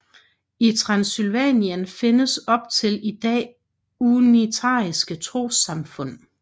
I Transsylvanien findes op til i dag unitariske trossamfund